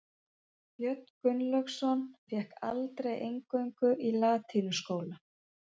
Björn Gunnlaugsson fékk aldrei inngöngu í latínuskóla.